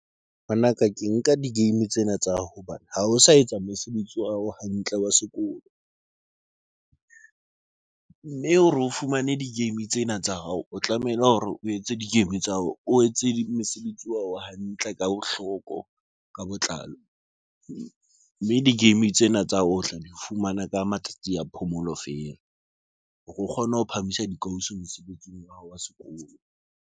Ngwanaka ke nka di-game tsena tsa hobane ha o sa etsa mosebetsi wa hao hantle wa sekolo, mme o fumane di-game tsena tsa hao, o tlamehile hore o etse di-game tsa hao, o etse mosebetsi wa hore hantle ka bohloko ka botlalo, mme di-game tsena tsa hao o tla di fumana ka matsatsi a phomolo feela hore o kgone ho phahamisa dikausi mosebetsing wa hao wa sekolo.